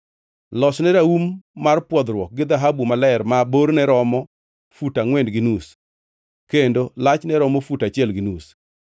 “Losne raum mar pwodhruok gi dhahabu maler ma borne romo fut angʼwen gi nus kendo lachne romo fut achiel gi nus.